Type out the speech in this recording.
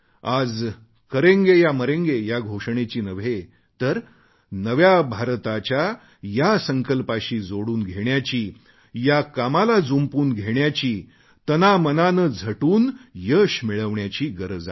आज करेंगे या मरेंगे या घोषणेची नव्हे तर नव्या भारताच्या या संकल्पाशी जोडून घेण्याची या कामाला जुंपून घेण्याची तनामनाने झटून यश मिळवण्याची आहे